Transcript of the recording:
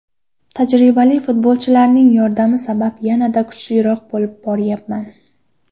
Tajribali futbolchilarning yordami sabab yanada kuchliroq bo‘lib boryapman.